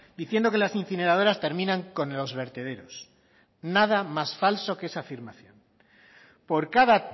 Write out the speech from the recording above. diciendo que las incineradoras terminan con los vertederos nada más falso que esa afirmación por cada